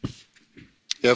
Herr Präsident!